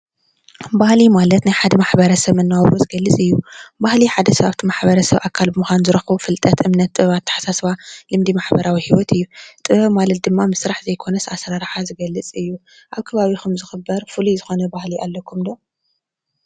ባህሊ ማለት ናይ ሓደ ማሕበረሰብ መነባብሮ ዝገልፅ እዩ ባህሊ ሓደ ኣካል እቲ ማሕበረሰብ ብምኳኑ ዝረክቦ ፍልጠት ፡እምነት ፡ኣተሓሳስባ ልምዲ ማሕበራዊ ሂወት እዩ ጥበብ ማለት ድማ ምስራሕ ማለት ዘይኮነስ ኣሰራርሕ ዝገልፅ እዩ ኣብ ከባቢኩም ዝክበር ፍሉይ ዝኮነ ባህሊ ኣለኩም'ዶ?